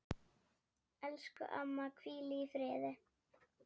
Elsku amma, hvíl í friði.